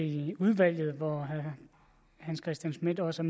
i udvalget hvor herre hans christian schmidt også